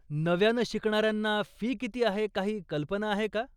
नव्यानं शिकणाऱ्यांना फी किती आहे काही कल्पना आहे का?